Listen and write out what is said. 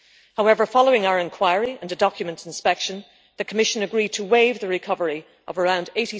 However, following our inquiry and a document inspection, the Commission agreed to waive the recovery of around EUR